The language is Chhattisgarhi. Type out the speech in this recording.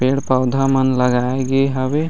पेड़-पौधा मन लगाए गे हवे।